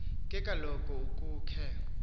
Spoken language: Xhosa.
ke kaloku ukhe